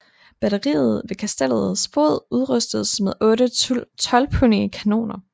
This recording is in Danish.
Batteriet ved kastellets fod udrustedes med otte tolvpundige kanoner